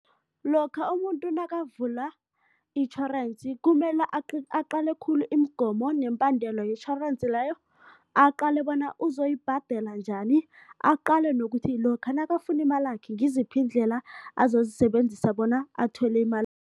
Lokha umuntu nakavula itjhorensi kumele aqale khulu imigomo nemibandela yetjhorensi leyo, aqale bona uzoyibhadela njani, aqale nokuthi lokha nakafuna imalakhe ngiziphi iindlela azozisebenzisa bona athole